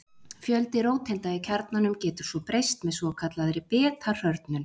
Fjöldi róteinda í kjarnanum getur svo breyst með svokallaðri beta-hrörnun.